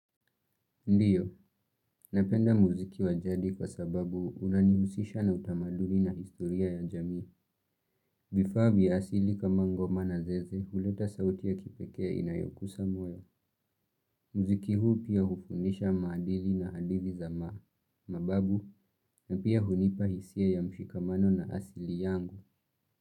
Ndiyo, napenda muziki wajadi kwa sababu unanihusisha na utamaduli na historia ya jamii, vifaa vya asili kama ngoma na zeze huleta sauti ya kipekee inayokusa moyo, muziki huu pia hufundisha maadili na adili za maa, mababu na pia hunipa hisia ya mshikamano na asili yangu.